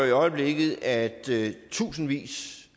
i øjeblikket at tusindvis